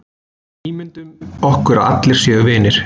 Ímyndum okkur að allir séu vinir.